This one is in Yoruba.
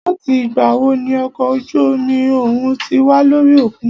Láti ìgbà wo ní okọ̀ ojú omi òhún tí wà lórí òkun?